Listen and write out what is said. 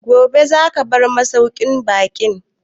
Gobe za ka bar masauƙin baƙin?